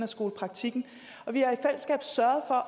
skolepraktikken og vi